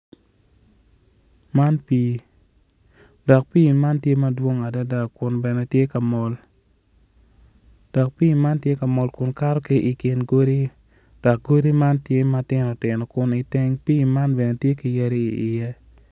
Man pii dok pii man tye madwong adada kun bene tye ka mol dok pii man tye ka mol kun kato ki i kin godi dok godi man tye matino tino kun iteng pii man bene tye ki yadi iye